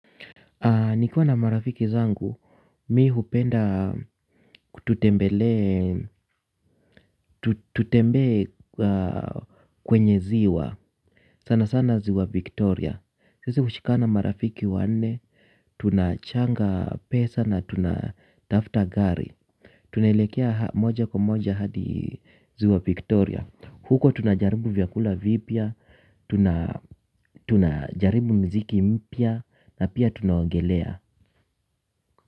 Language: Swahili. Nikuwa na marafiki zangu, mi hupenda tutembelee, tutembee kwenye ziwa. Sana sana ziwa Victoria. Sisi hushikana marafiki wanne, tunachanga pesa na tunatafuta gari. Tunaelekea moja kwa moja hadi ziwa Victoria. Huko tunajaribu vyakula vipya, tunajaribu mziki mpya na pia tunaogelea.